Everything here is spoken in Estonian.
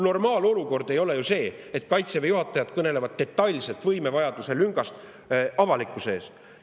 Normaalolukord ei ole ju see, et Kaitseväe juhatajad kõnelevad detailselt võimelüngast avalikkuse ees.